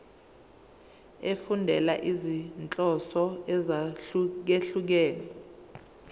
efundela izinhloso ezahlukehlukene